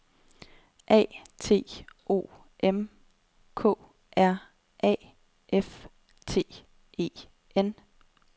A T O M K R A F T E N